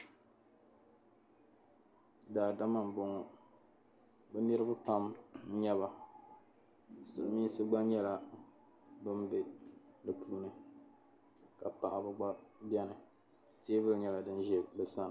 Daadama m-bɔŋɔ bɛ niriba pam n-nyɛ ba Silimiinsi gba nyɛla ban be bɛ puuni ka paɣaba gba beni teebuli nyɛla din ʒe bɛ sani.